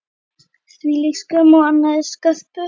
Hvílík skömm á allri sköpun.